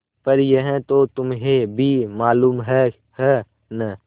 पर यह तो तुम्हें भी मालूम है है न